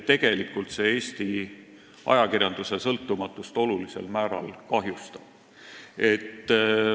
Tegelikult see Eesti ajakirjanduse sõltumatust olulisel määral kahjustab.